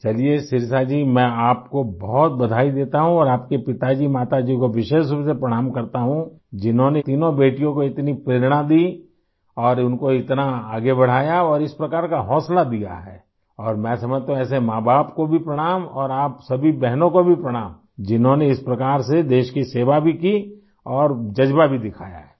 واہ! ... چلیئے شیرشا جی ، میں آپ کو بہت مبارکباد دیتا ہوں اور آپ کے والد ، والدہ کو ،خاص طور سے پرنام کرتا ہوں ، جنہوں نے تینوں بیٹیوں کو اتنی تحریک دی اور ان کواتنا آگے بڑھایا اور اس طرح کا حوصلہ دیا اور میں سمجھتا ہوں کہ ایسے والدین کو بھی پرنام اور آپ سبھی بہنوں کو بھی پرنام ، جنہوں نے اس طرح سے ملک کی خدمت کی اور جذبہ بھی دکھایا ہے